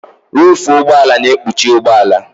Ruufu ụgbọala na-ekpuchi ụgbọala.